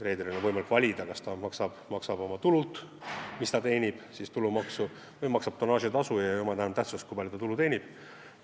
Reederil on võimalik valida, kas ta maksab Eesti riigile oma teenitud tulult tulumaksu või maksab tonnaažitasu, mille puhul pole enam tähtis, kui palju ta tulu teenib.